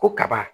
Ko kaba